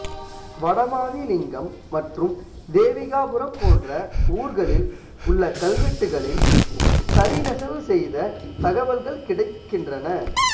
வடமாதிமங்கலம் மற்றும் தேவிகாபுரம் போன்ற ஊர்களில் உள்ள கல்வெட்டுகளில் தறி நெசவு செய்த தகவல்கள் கிடைக்கின்றன